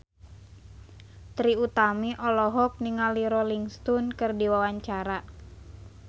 Trie Utami olohok ningali Rolling Stone keur diwawancara